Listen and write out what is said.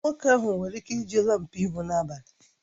Nwoke ahụ nwere ike iji laampụ ịhụ n'abalị